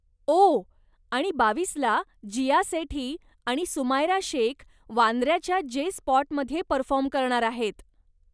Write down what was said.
ओह, आणि बावीस ला जीया सेठी आणि सुमायरा शेख वांद्य्राच्या जे स्पॉटमध्ये परफॉर्म करणार आहेत.